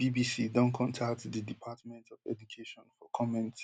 di bbc don contact di department of education for comment